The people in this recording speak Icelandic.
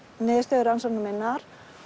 niðurstöður rannsóknar minnar